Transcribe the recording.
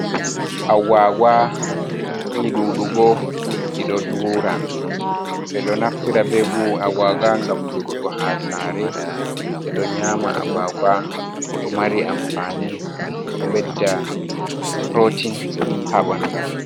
Agwagwa ni ɗuɗugo ɓeɗo dura ɓe ɗo naftira be Agwagwa ngam durugo ha saare ɓeɗo nyama Agwagwa ɗo mari amfaani ɗo bedda purotin ha ɓandu.